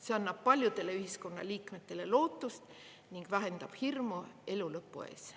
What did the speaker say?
See annab paljudele ühiskonnaliikmetele lootust ning vähendab hirmu elu lõpu ees.